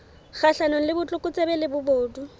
kgahlanong le botlokotsebe le bobodu